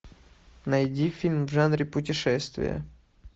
найди фильм в жанре путешествия